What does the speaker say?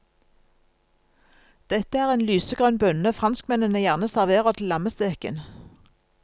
Dette er en lysegrønn bønne franskmennene gjerne serverer til lammesteken.